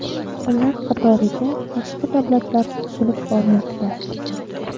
Ular qatoriga boshqa davlatlar qo‘shilib bormoqda.